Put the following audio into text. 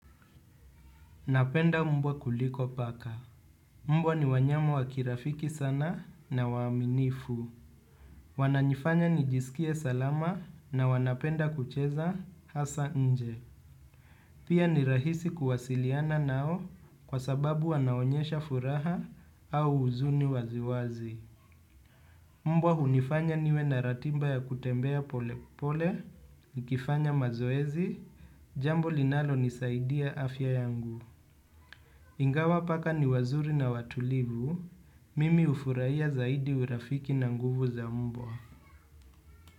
Napenda mbwa kuliko paka. Mbwa ni wanyama wa kirafiki sana na waaminifu. Wananifanya nijisikie salama na wanapenda kucheza hasa nje. Pia ni rahisi kuwasiliana nao kwa sababu wanaonyesha furaha au huzuni waziwazi. Mbwa hunifanya niwe na ratiba ya kutembea pole pole, nikifanya mazoezi. Jambo linalonisaidia afya yangu. Ingawa paka ni wazuri na watulivu, mimi ufurahia zaidi urafiki na nguvu za mbwa.